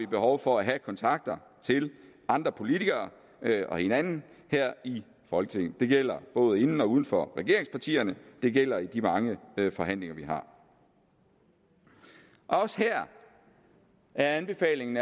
behov for at have kontakter til andre politikere og hinanden her i folketinget det gælder både inden for og uden for regeringspartierne det gælder i de mange forhandlinger vi har også her er anbefalingen